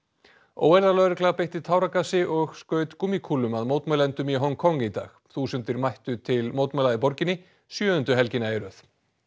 óeirðalögregla beitti táragasi og skaut gúmmíkúlum að mótmælendum í Hong Kong í dag þúsundir mættu til mótmæla í borginni sjöundu helgina í röð